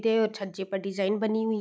और छज्जे पर डिजाईन बनी हुई --